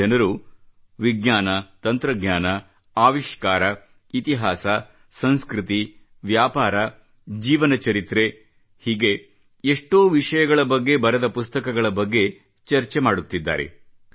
ಜನರು ವಿಜ್ಞಾನ ತಂತ್ರಜ್ಞಾನ ಆವಿಷ್ಕಾರ ಇತಿಹಾಸ ಸಂಸ್ಕೃತಿ ವ್ಯಾಪಾರ ಜೀವನ ಚರಿತ್ರೆ ಹೀಗೆ ಎಷ್ಟೋ ವಿಷಯಗಳ ಬಗ್ಗೆ ಬರೆದ ಪುಸ್ತಕಗಳ ಬಗ್ಗೆ ಚರ್ಚೆ ಮಾಡುತ್ತಿದ್ದಾರೆ